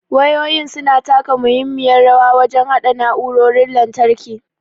Wayoyin su na taka muhimmiyar rawa wajen haɗa na'urorin lantarki.